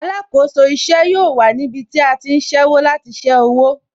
Alákòóso ìṣe yóò wà níbí tí a ti ń ṣẹ́wó láti ṣé owó